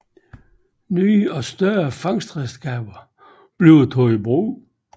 Nye og større fangstredskaber blev taget i brug